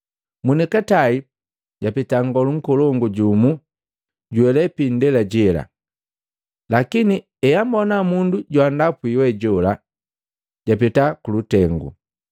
Monikatai japeta nngolu nkolongu jumu juhelee piindela jela, lakini eambona mundu joandapwi we jola japeta kulutengu.